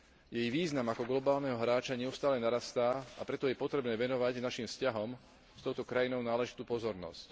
Jej význam ako globálneho hráča neustále narastá, a preto je potrebné venovať našim vzťahom s touto krajinou náležitú pozornosť.